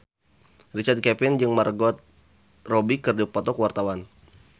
Richard Kevin jeung Margot Robbie keur dipoto ku wartawan